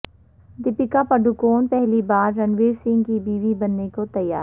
دپیکا پڈوکون پہلی بار رنویر سنگھ کی بیوی بننے کو تیار